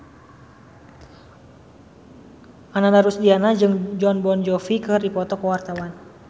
Ananda Rusdiana jeung Jon Bon Jovi keur dipoto ku wartawan